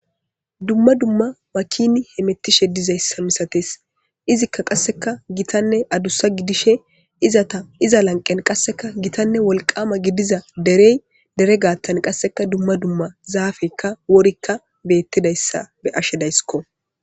dumma dumma makini hemettishe dizayssa misates , izikka qasseka gitanne adussa gidishe izata iza lanqen qasseka gitanne wolqama gidiza derey dere gaattan qasseka dumma dumma zaapeyka worika betidaysa be'ashe daysko.